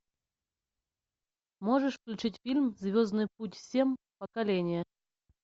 можешь включить фильм звездный путь семь поколение